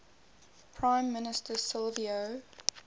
prime minister silvio